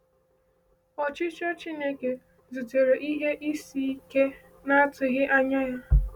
Ọchịchọ Chineke zutere ihe isi ike na-atụghị anya ya.